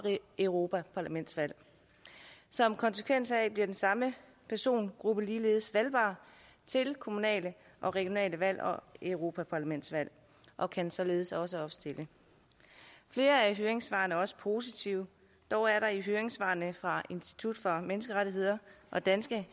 europaparlamentsvalg som konsekvens heraf bliver den samme persongruppe ligeledes valgbar til kommunale og regionale valg og europaparlamentsvalg og kan således også opstille flere af høringssvarene er også positive dog er det i høringssvarene fra institut for menneskerettigheder og danske